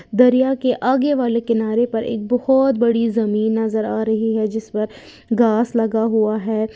दरिया के आगे वाले किनारे पर एक बहुत बड़ी जमीन नजर आ रही है जिस पर घास लगा हुआ है।